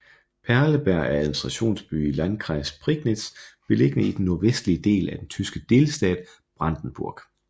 Perleberg er administrationsby i landkreis Prignitz beliggende i den nordvestlige del af den tyske delstat Brandenburg